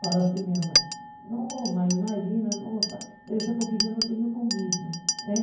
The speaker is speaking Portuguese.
Falou assim minha mãe, não, mãe, imagina, nossa deve ser porque eu não tenho comido.